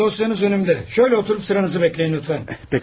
Bəli, dosyanız qabağımdadır, beləcə oturub növbənizi gözləyin zəhmət olmasa.